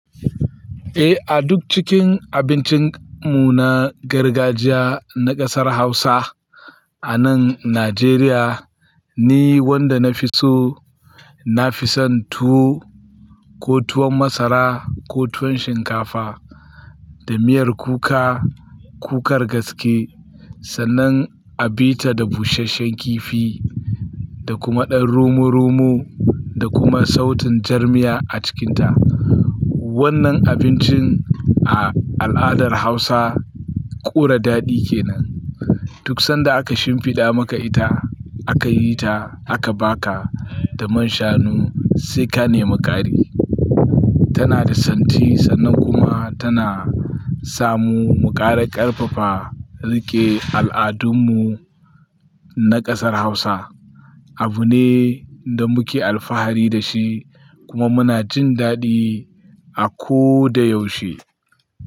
Eh, a duk cikin abincin mu na gargajiya na ƙasar Hausa a nan Najeriya, ni wanda na fi so, na fi son tuwo, ko tuwon masara, ko tuwon shinkafa da miyar kuka, kukar gaske sannan a bita da busasshen kifi da kuma ɗan rumo-rumu da kuma sautin jar miya a cikinta. Wannan abincin a al'adar Hausa ƙura daɗi ke nan. Duk sanda aka shimfiɗa maka ita, aka yi ta, aka ba ka da man shanu sai ka nemi ƙari. Tana da santi sannan kuma tana samu muƙara ƙarfafa rike al'adunmu na ƙasar Hausa. Abu ne da muke alfahari da shi kuma muna jin daɗi a ko da yaushe.